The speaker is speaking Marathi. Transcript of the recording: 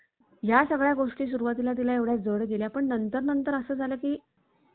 या सगळ्या गोष्टी सुरुवातीला तिला एवढ्या जड केल्या. पण नंतर नंतर असं झालं की